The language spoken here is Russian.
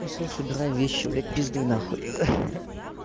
ну всё собирай вещи блядь пиздуй на хуй